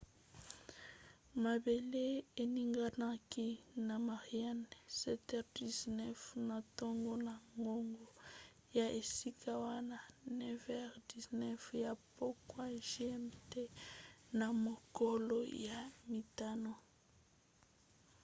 mabele eninganaki na mariana 07h19 na ntongo na ngonga ya esika wana 09h19 ya pokwa gmt na mokolo ya mitano